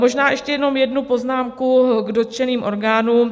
Možná ještě jenom jednu poznámku k dotčeným orgánům.